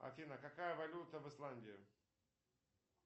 афина какая валюта в исландии